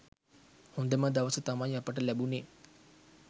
හොඳම දවස තමයි අපිට ලැබුණේ.